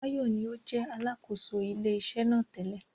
Báyọ̀ ní ó jẹ́ Alákóso ilé iṣẹ́ náà tẹ́lẹ̀